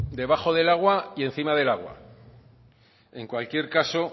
debajo del agua y encima del agua en cualquier caso